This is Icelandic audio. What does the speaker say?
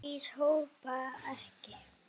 Lýs hoppa ekki.